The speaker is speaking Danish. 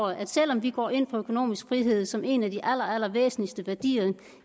at selv om vi går ind for økonomisk frihed som en af de aller allervæsentligste værdier